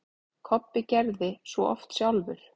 Kobbi gerði svo oft sjálfur.